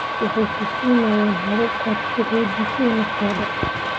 Waxay ku siinayaan habab aad ku xoojiso naftada.